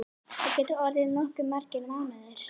Það gætu orðið nokkuð margir mánuðir.